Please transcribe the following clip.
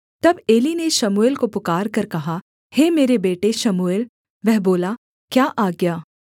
तब एली ने शमूएल को पुकारकर कहा हे मेरे बेटे शमूएल वह बोला क्या आज्ञा